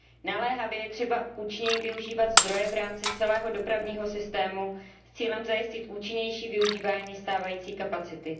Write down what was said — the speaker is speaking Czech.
Naléhavě je třeba účinněji využívat zdroje v rámci celého dopravního systému s cílem zajistit účinnější využívání stávající kapacity.